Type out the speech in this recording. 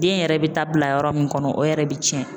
Den yɛrɛ bɛ taa bila yɔrɔ min kɔnɔ o yɛrɛ bɛ cɛn.